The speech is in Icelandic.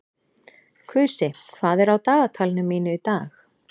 Kusi, hvað er á dagatalinu mínu í dag?